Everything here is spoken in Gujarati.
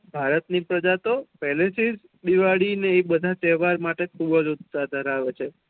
ભારત ની પ્રેજા તો પેહલે થી જ દિવાળી ને એ બેધા તેહવારો માટે ખુબજ ઉતહસા ધેરાવે છે